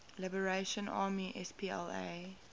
liberation army spla